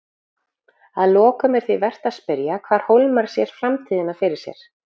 Að lokum er því vert að spyrja hvar Hólmar sér framtíðina fyrir sér?